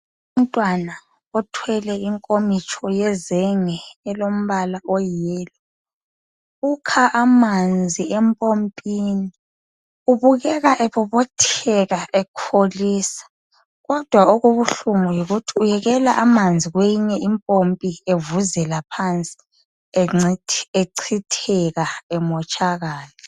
Umntwana othwele inkomitsho yezenge elombala oyi yellow, ukha amanzi empompini ubukeka ebobotheka ekholisa kodwa okubuhlungu yikuthi uyekela amanzi kweyinye impompi evuzela phansi echitheka emotshakala.